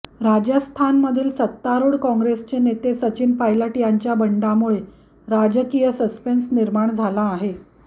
राजस्थानमधील सत्तारूढ कॉंग्रेसचे नेते सचिन पायलट यांच्या बंडामुळे राजकीय सस्पेन्स निर्माण झाला आहे